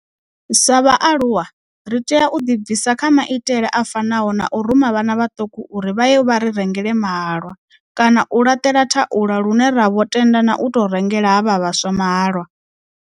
Sa vha aluwa ri tea u ḓibvisa kha maitele a fanaho na u ruma vhana vhaṱuku uri vha ye vha ri rengele mahalwa kana u laṱela thaula lune ra vho tenda na u tou rengela havha vhaswa mahalwa.